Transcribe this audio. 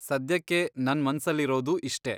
ಸದ್ಯಕ್ಕೆ ನನ್ ಮನ್ಸಲ್ಲಿರೋದು ಇಷ್ಟೇ.